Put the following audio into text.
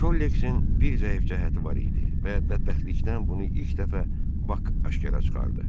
Şolleksin bir zəif cəhəti var idi və bədbəxtlikdən bunu ilk dəfə Bak aşkara çıxardı.